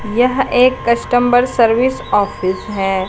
यह एक customer service office है।